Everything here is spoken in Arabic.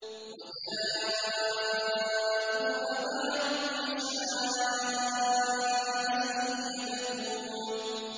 وَجَاءُوا أَبَاهُمْ عِشَاءً يَبْكُونَ